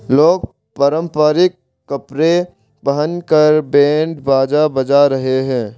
लोग परंपरिक कपड़े पहन कर बैंड बाजा बजा रहे हैं।